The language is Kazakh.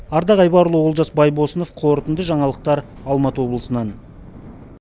ардақ айбарұлы олжас байбосынов қорытынды жаңалықтар алматы облысынан